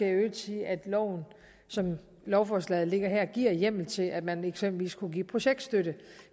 i øvrigt sige at loven som lovforslaget ligger her giver hjemmel til at man eksempelvis kunne give projektstøtte